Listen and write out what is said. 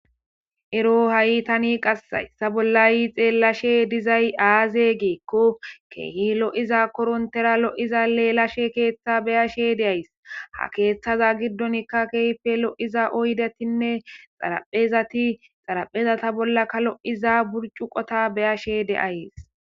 ero ha7i tani qassayssa bollay xeellashe dizay aaze giikko keehi lo7iza korontera lo7iza leelashe keeththa beyashe deays ha keeththaza giddonikka kehyfe lo7iza oydetinne xaraphezati xaraphezata bollakka lo7iza burcu qota beyashe de'ays